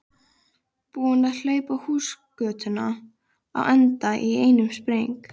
Búinn að hlaupa húsagötuna á enda í einum spreng.